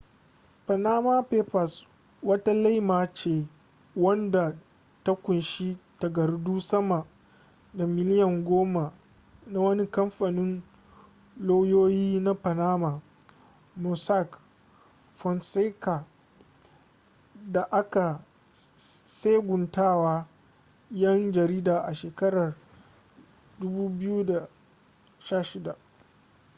panama papers wata laima ce wadda ta kunshi takardu sama da miliyan goma na wani kamfanin lauyoyi na panama mossack fonseca da aka tseguntawa yan jarida a shekarar 2016